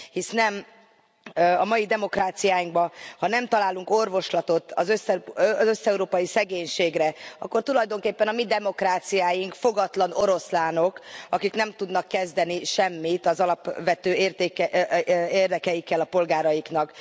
Hisz a mai demokráciáinkban ha nem találunk orvoslatot az összeurópai szegénységre, akkor tulajdonképpen a mi demokráciáink fogatlan oroszlánok, akik nem tudnak kezdeni semmit az alapvető érdekeikkel a polgáraiknak.